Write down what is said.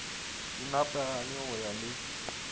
di nepagale go ya le